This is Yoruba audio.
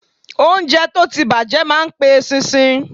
Óúnjẹ tó ti bàjẹ́ ma pe eṣinṣin.